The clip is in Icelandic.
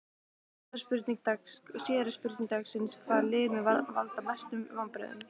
Síðari spurning dagsins: Hvaða lið mun valda mestum vonbrigðum?